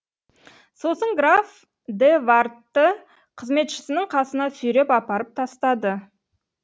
сосын граф де вардты қызметшісінің қасына сүйреп апарып тастады